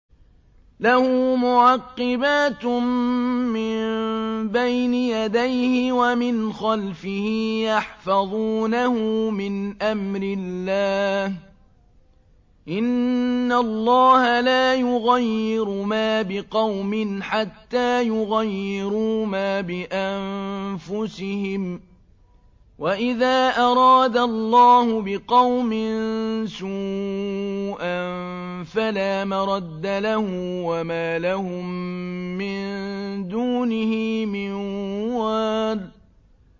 لَهُ مُعَقِّبَاتٌ مِّن بَيْنِ يَدَيْهِ وَمِنْ خَلْفِهِ يَحْفَظُونَهُ مِنْ أَمْرِ اللَّهِ ۗ إِنَّ اللَّهَ لَا يُغَيِّرُ مَا بِقَوْمٍ حَتَّىٰ يُغَيِّرُوا مَا بِأَنفُسِهِمْ ۗ وَإِذَا أَرَادَ اللَّهُ بِقَوْمٍ سُوءًا فَلَا مَرَدَّ لَهُ ۚ وَمَا لَهُم مِّن دُونِهِ مِن وَالٍ